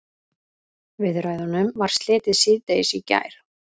Viðræðunum var slitið síðdegis í gær